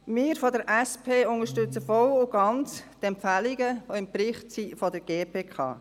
Wir von der SP unterstützen die Empfehlungen der GPK, die im Bericht enthalten sind, voll und ganz.